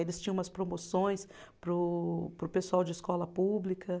Eles tinham umas promoções para o, para o pessoal de escola pública.